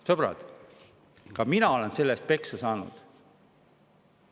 Sõbrad, ka mina olen selle eest peksa saanud.